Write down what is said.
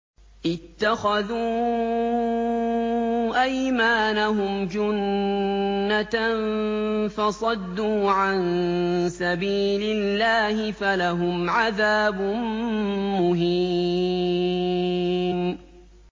اتَّخَذُوا أَيْمَانَهُمْ جُنَّةً فَصَدُّوا عَن سَبِيلِ اللَّهِ فَلَهُمْ عَذَابٌ مُّهِينٌ